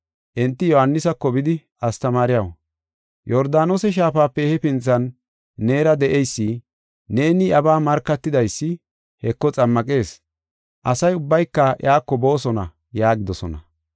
Enti Yohaanisako bidi, “Astamaariyaw, Yordaanose Shaafape hefinthan neera de7eysi, neeni iyabaa markatidaysi, Heko xammaqees. Asa ubbayka iyako boosona” yaagidosona.